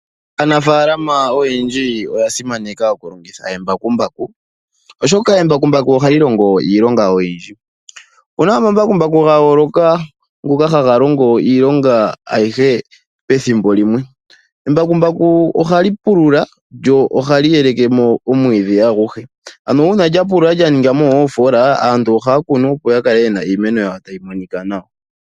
Aanafaalama oyendji oya simaneka oku longitha eembakumbaku, oshoka embakumbaku oha li longo iilonga oyindji. Opuna omambakumbaku ga yooloka ngoka haga longo iilonga ayihe pethimbo limwe, embakumbaku ohali pululwa lyo ohali yeleke mo omwiidhi aguhe. Ano uuna lya pulula lya ninga mo oofola aantu ohaya kunu, opo ya kale yena iimeno yawo tayi monika nawa